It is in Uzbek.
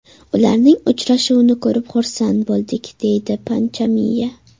Ularning uchrashuvini ko‘rib xursand bo‘ldik”, − deydi Panchamiya.